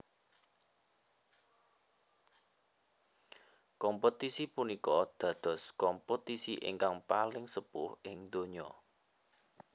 Kompetisi punika dados kompetisi ingkang paling sepuh ing donya